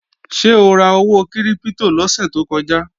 Ṣé o ra owó kírípítò lọ́sè tó kọjá?